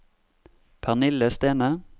Pernille Stene